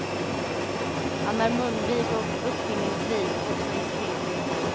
Han är munvig och uppfinningsrik också i skrift.